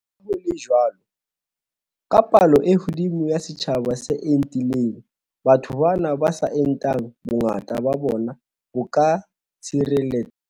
Le ha ho le jwalo, ka palo e hodimo ya setjhaba se entileng, batho bana ba sa entang, bongata ba bona bo ka tshireletseha.